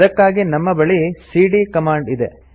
ಅದಕ್ಕಾಗಿ ನಮ್ಮ ಬಳಿ ಸಿಡಿಯ ಕಮಾಂಡ್ ಇದೆ